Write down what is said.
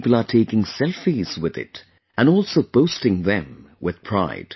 People are taking selfies with it and also posting them with pride